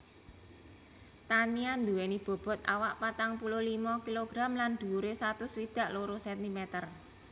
Tania duweni bobot awak patang puluh limo kilogram lan dhuwure satus swidak loro centimeter